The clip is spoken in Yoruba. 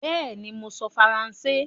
Bẹ́ẹ̀ni, mò ń sọ Faransé